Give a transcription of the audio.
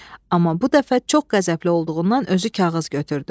Amma bu dəfə çox qəzəbli olduğundan özü kağız götürdü.